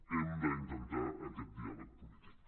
hem d’intentar aquest diàleg polític